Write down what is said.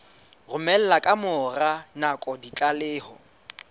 romela ka mora nako ditlaleho